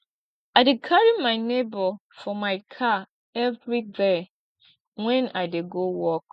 i dey carry my nebor for my car everyday wen i dey go work